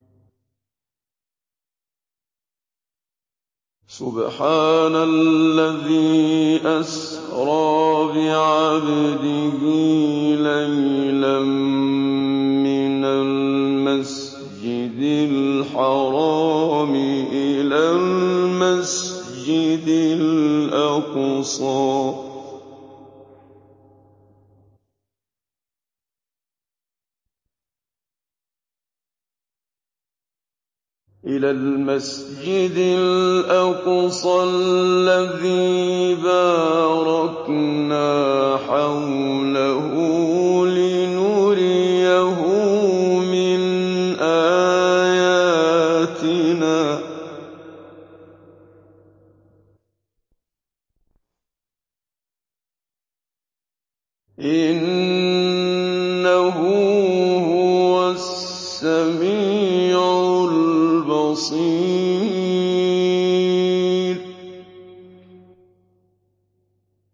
سُبْحَانَ الَّذِي أَسْرَىٰ بِعَبْدِهِ لَيْلًا مِّنَ الْمَسْجِدِ الْحَرَامِ إِلَى الْمَسْجِدِ الْأَقْصَى الَّذِي بَارَكْنَا حَوْلَهُ لِنُرِيَهُ مِنْ آيَاتِنَا ۚ إِنَّهُ هُوَ السَّمِيعُ الْبَصِيرُ